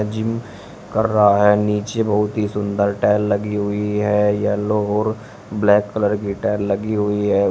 Gym कर रहा है। नीचे बहुत ही सुंदर टाइल लगी हुई है। येलो और ब्लैक कलर की टाइल लगी हुई है।